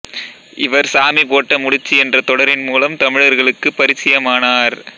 இவர் சாமி போட்ட முடிச்சு என்ற தொடரின் முலம் தமிழர்களுக்கு பரிசியமனார்